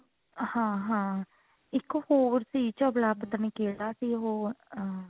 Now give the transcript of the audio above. ਹਾਂ ਹਾਂ ਇੱਕ ਹੋਰ ਸੀ ਚਬਲਾ ਪਤਾ ਨਹੀਂ ਕਿਹੜਾ ਸੀ ਉਹ ਅਹ